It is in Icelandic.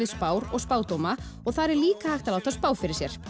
spár og spádóma og þar er líka hægt að láta spá fyrir sér